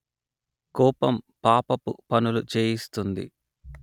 కోపం పాపపు పనులు చేయిస్తుంది